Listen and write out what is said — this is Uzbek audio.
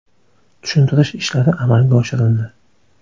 Tushuntirish ishlari amalga oshirildi.